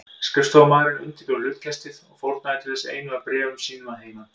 Skrifstofumaðurinn undirbjó hlutkestið og fórnaði til þess einu af bréfum sínum að heiman.